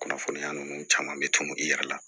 Kunnafoniya ninnu caman bɛ tunu i yɛrɛ la